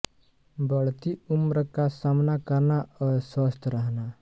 बढ़ती उम्र का सामना करना और स्वस्थ रहना